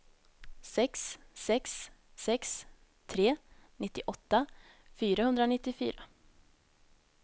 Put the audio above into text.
sex sex sex tre nittioåtta fyrahundranittiofyra